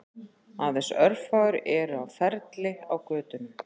Aðeins örfáir eru á ferli á götunum